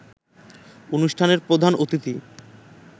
অনুষ্ঠানে প্রধান অতিথি